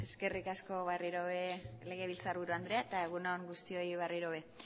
eskerrik asko berriro ere legebiltzar buru andrea eta egun on guztioi berriro ere